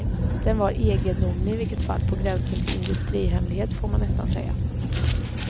Den var egendomlig i vilket fall, på gränsen till industrihemlighet får man nästan säga.